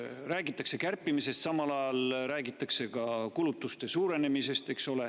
Räägitakse kärpimisest, samal ajal räägitakse kulutuste suurenemisest.